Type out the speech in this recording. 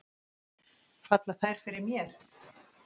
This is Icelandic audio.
Falla þær fyrir mér?